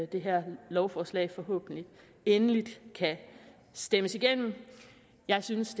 det her lovforslag forhåbentlig endeligt kan stemmes igennem jeg synes